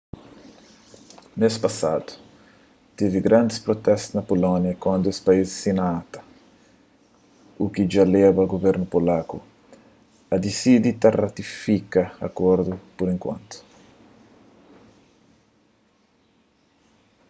mês pasadu tevi grandis prutestu na pulónia kantu es país sina acta u ki dja leba guvernu polaku a disidi ka ratifika akordu pur enkuantu